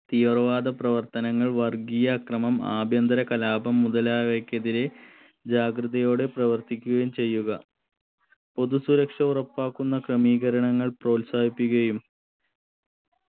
തീവ്രവാദ പ്രവർത്തനങ്ങൾ വർഗീയ ആക്രമം ആഭ്യന്തര കലാപം മുതലായവക്കെതിരെ ജാഗ്രതയോടെ പ്രവർത്തിക്കുകയും ചെയ്യുക പൊതു സുരക്ഷാ ഉറപ്പാക്കുന്ന ക്രമീകരണങ്ങൾ പ്രോത്സാഹിപ്പിക്കുകയും